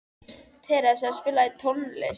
Theresa, spilaðu tónlist.